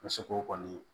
Muso ko kɔni